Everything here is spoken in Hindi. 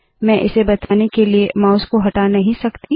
मैं इसे बताने के लिए माउस को हटा नहीं सकती